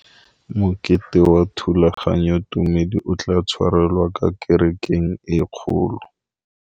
Mokete wa thulaganyôtumêdi o tla tshwarelwa kwa kerekeng e kgolo.